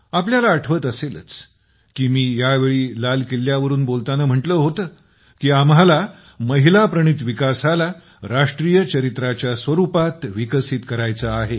आपल्याला आठवत असेलच की मी यावेळी लाल किल्ल्यावरून बोलताना म्हटलं होतं की आम्हाला महिला प्रणित विकासाला राष्ट्रीय चरित्राच्या स्वरूपात विकसित करायचं आहे